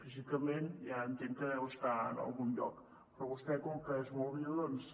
físicament ja entenc que deu estar en algun lloc però vostè com que és molt viu doncs